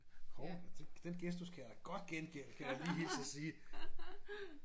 Hov den gestus kan jeg da godt gengælde kan jeg da lige hilse at sige